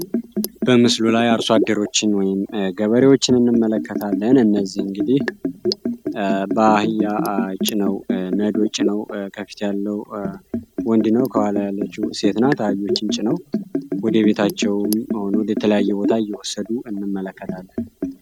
በምስሉ ላይ አርሶ አደሮችን ገበሬዎችን እንመለከታለን። እነዚህ እንግዲ በአህያ ነዶ ጭነው በፊት ያለው ወንድ ነው በኋላ ያለችው ሴት ናት። አህዮችን ጨነው ወደ ቤታቸው ወይም ወደ ሌላ ቦታ እየወሰዱ እንመለከታለን።